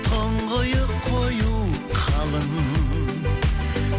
тұңғиық қою қалың